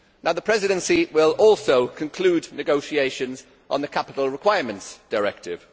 The Presidency will also conclude negotiations on the Capital Requirements Directive.